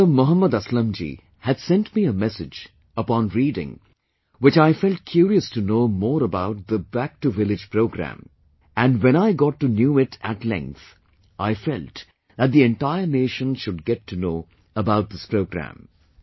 Brother Mohd Aslam ji had sent me a message upon reading which I felt curious to know more about the 'Back to village' programme and when I got to knew it at length, I felt that the entire nation should get to know about this programme